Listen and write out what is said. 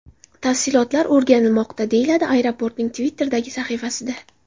Tafsilotlar o‘rganilmoqda”, deyiladi aeroportning Twitter’dagi sahifasida.